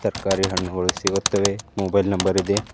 ಕರಿ ಹಣ್ಣುಗಳು ಸಿಗುತ್ತವೆ mobile number ಇದೆ.